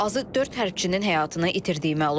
Azı 4 hərbçinin həyatını itirdiyi məlum olub.